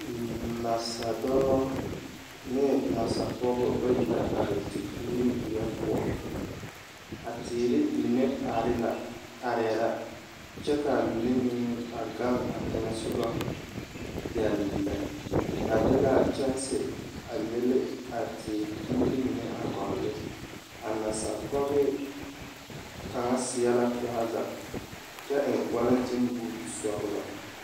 Nasadɔɔ ne nasapɔɡebɔ bayi la are tepuure weɛ poɔ a teere mine arɛɛ la kyɛ ka a mine meŋ a ɡaŋ a teŋɛ soɡa dɛll lɛ ba de la kyɛnse a mili a teere puure mine a ɡɔl ne a nasapɔɡe kaŋa seɛ la trɔza kyɛ eŋ walentenbuuti sɔɡelɔ.